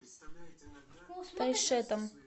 тайшетом